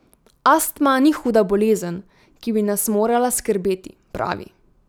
Astma ni huda bolezen, ki bi nas morala skrbeti, pravi.